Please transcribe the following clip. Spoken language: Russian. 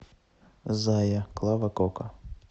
зая клава кока